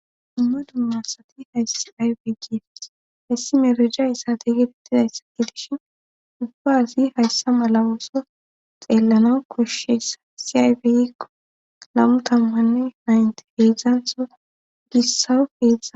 Dumma dummasati hayssi aybi gifis hessi merija issate gibettidayssa gidishin ubbazi hayssa malawooso xeellana koshshessa si aybiykko lammu tammanne naynte heedzdzantho gissawu heza